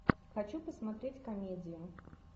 хочу посмотреть комедию